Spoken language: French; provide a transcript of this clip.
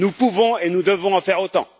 Nous pouvons et nous devons en faire autant.